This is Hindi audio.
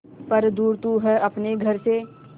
पर दूर तू है अपने घर से